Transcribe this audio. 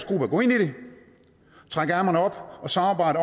gruppe at gå ind i det trække ærmerne op og samarbejde